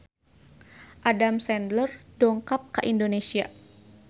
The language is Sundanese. Adam Sandler dongkap ka Indonesia